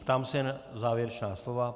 Ptám se na závěrečná slova.